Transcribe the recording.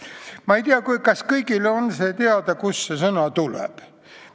Ma ei tea, kas kõigile on see teada, kust see sõna tuleb.